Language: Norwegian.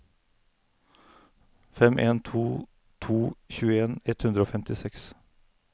fem en to to tjueen ett hundre og femtiseks